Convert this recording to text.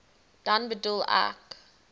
dan bedoel ek